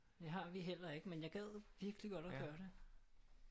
Det har vi heller ikke med jeg gad virkelig godt at gøre det